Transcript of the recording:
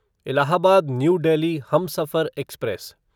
Allahabad New Delhi Humsafar express